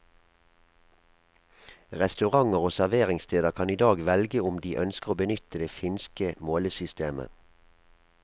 Restauranter og serveringssteder kan i dag velge om de ønsker å benytte det finske målesystemet.